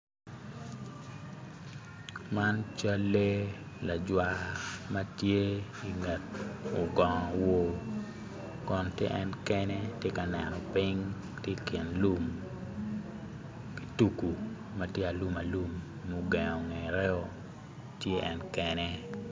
Man cal lee lajwa ma tye i nget ogongo owo kon ti en kene ti ka neno piny ti i kin lum ki tugu ma tye alum alum mugengo ngetteo ti en kene